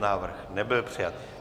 Návrh nebyl přijat.